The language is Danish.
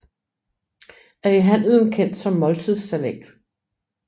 Er i handelen kendt som måltidssalat